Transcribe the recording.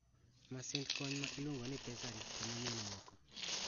Masind kony ma iluongo ni pessary konyo mon moko.